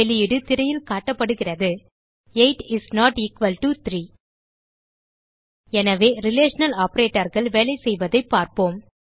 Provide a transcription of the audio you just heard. வெளியீடு திரையில் காட்டப்படுகிறது 8 இஸ் நோட் எக்குவல் டோ 3 எனவே ரிலேஷனல் operatorகள் வேலைசெய்வதைப் பார்ப்போம்